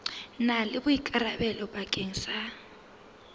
na le boikarabelo bakeng sa